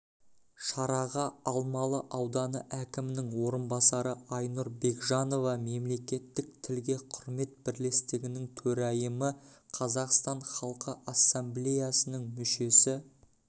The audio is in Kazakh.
шараға алмалы ауданы әкімінің орынбасары айнұр бекжанова мемлекеттік тілге құрмет бірлестігінің төрайымы қазақстан халқы ассамблеясының мүшесі